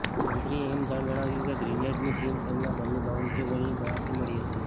મંત્રીએ એમ પણ જણાવ્યું કે ગ્રેનેડની પિન તેમના ઘરની બાઉન્ડ્રી વોલની બહારથી મળી હતી